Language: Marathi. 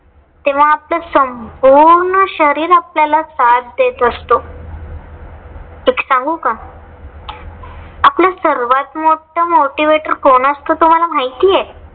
तेव्हा आपलं संपूर्ण शरीर आपल्याला साथ देत असतो. एक सांगू का? आपलं सर्वात मोठ motivator कोण असत तुम्हाला माहितय